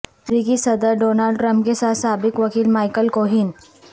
امریکی صدر Donald Trump کے ساتھ سابق وکیل مائکل کوہین